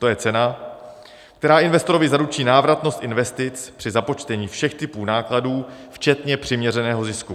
To je cena, která investorovi zaručí návratnost investic při započtení všech typů nákladů včetně přiměřeného zisku.